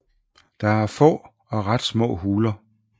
Der er er få og ret små huler